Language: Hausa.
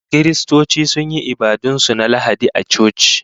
Kiristoci sun yi ibadun su na Lahadi a coci